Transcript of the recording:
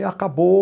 E acabou...